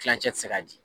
Kilancɛ tɛ se ka di